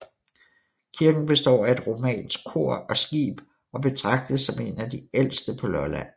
Kirken består af et romansk kor og skib og betragtes som en af de ældste på Lolland